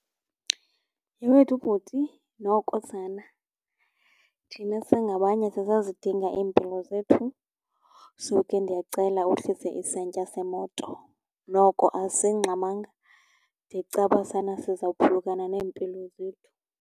Yhe wethu bhuti, noko sana thina singabanye sisazidinga iimpilo zethu, so ke ndiyacela uhlise isantya semoto. Noko asingxamanga de kucaba sana sizawuphulukana neempilo zethu.